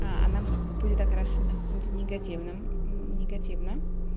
а она будет окрашена каким-то негативным негативно